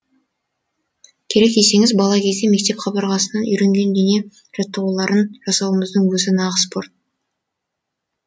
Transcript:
керек десеңіз бала кезде мектеп қабырғасынан үйренген дене жаттығуларын жасауымыздың өзі нағыз спорт